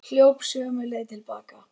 Hljóp sömu leið til baka.